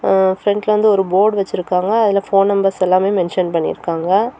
ஆ பிரண்ட்ல வந்து ஒரு போர்டு வச்சிருக்காங்க அதுல போன் நம்பர்ஸ் எல்லாமே மென்ஷன் பண்ணி இருக்காங்க.